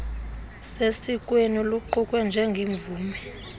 sesikweni luqukwe njengemvume